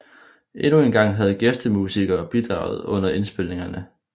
Endnu engang havde gæstemusikere bidraget under indspilningerne